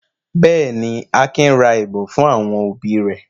Bẹ́ẹ̀ ni, Akin ra ẹ̀bùn fún àwọn òbí rẹ̀.